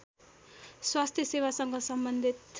स्वास्थ्य सेवासँग सम्बन्धित